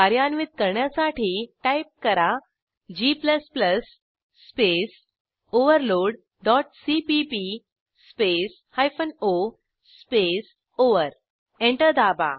कार्यान्वित करण्यासाठी टाईप करा g space overload dot CPP space hyphen O space over enter दाबा